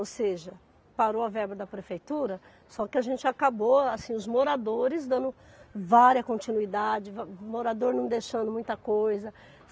Ou seja, parou a verba da prefeitura, só que a gente acabou, assim, os moradores dando várias continuidades, va, morador não deixando muita coisa.